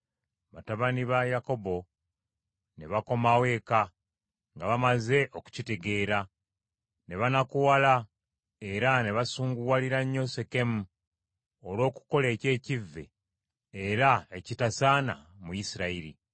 Batabani ba Yakobo ne bakomawo eka nga bamaze okukitegeera. Ne banakuwala era ne basunguwalira nnyo Sekemu olw’okukola eky’ekivve era ekitasaana mu Isirayiri.